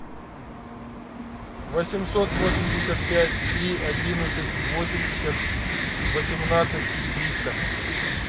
восемьсот восемьдесят пять три одиннадцать восемьдесят восемнадцать триста